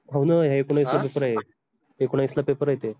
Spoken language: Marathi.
हो न ला paper आहेत एकोणावीस paper